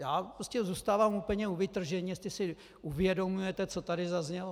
Já prostě zůstávám úplně u vytržení, jestli si uvědomujete, co tady zaznělo.